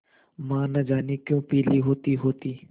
माँ न जाने क्यों पीली होतीहोती